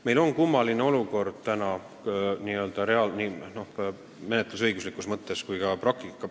Meil on kummaline olukord nii menetlusõiguslikus mõttes kui ka praktikas.